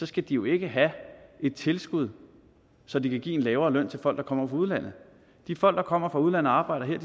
skal de jo ikke have et tilskud så de kan give en lavere løn til folk der kommer fra udlandet de folk der kommer fra udlandet og arbejder her